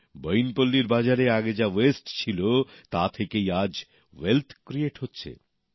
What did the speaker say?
বইনপল্লীর বাজারে আগে যা নষ্ট হত তা থেকেই আজ সম্পদ সৃষ্টি হচ্ছে